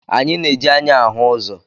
Anyị na-eji anya ahụ ụzọ.